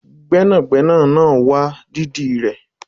Gbẹ́nàgbẹ́nà náà wá dídì rẹ